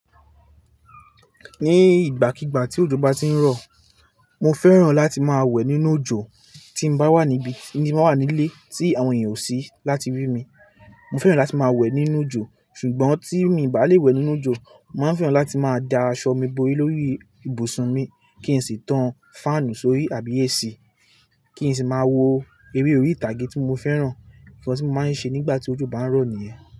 Ní ìgbàkígbà tí òjò bá ti ń rọ̀, mo fẹ́ràn láti máa wẹ̀ nínú òjò tí mo bá wà níbí, tí mo wà nílé tí àwọn èèyàn ò sí láti rí mi. Mo fẹ́ràn láti máa wẹ̀ nínú òjò. Ṣùgbọ́n tí mi bá lè wẹ̀ nínú òjò, màá fẹ́ràn láti máa da aṣọ mi bo lórí ibùsùn mi kí n sì tan fáànù sórí àbí AC, kí n sì máa wo eré orí ìtàgé tí mo fẹ́ràn. Ìfẹ́ tí mo máa ń ṣe nígbà tí òjò bá ń rọ̀ nìyẹn.